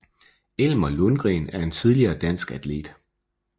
Elmer Lundgren er en tidligere dansk atlet